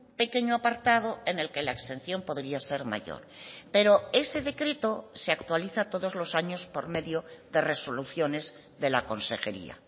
pequeño apartado en el que la exención podría ser mayor pero ese decreto se actualiza todos los años por medio de resoluciones de la consejería